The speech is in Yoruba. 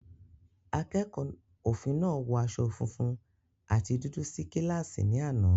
Akẹ́kọ̀ọ́ òfin náà wọ aṣọ funfun àti dúdú sí kíláàsì ní àná.